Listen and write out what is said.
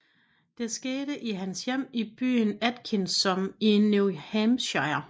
Det skete i hans hjem i byen Atkinsom i New Hampshire